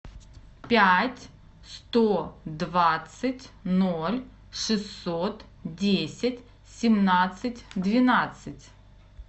пять сто двадцать ноль шестьсот десять семнадцать двенадцать